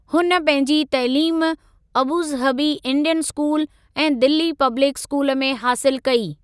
हुन पंहिंजी तइलीम अबूज़हबी इंडियन स्कूल ऐं दिल्ली पब्लिक स्कूल में हासिलु कई।